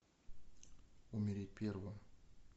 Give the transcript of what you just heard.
умереть первым